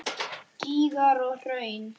Gígar og hraun